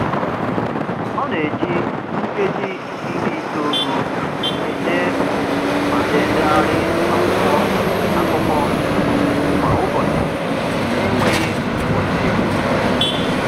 Ọ na-eji nkeji iri itoolu ede ma na-edegharị akwụkwọ akụkọ kwa ụbọchị n'enweghị nkwusị